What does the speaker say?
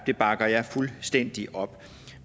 det bakker jeg fuldstændig op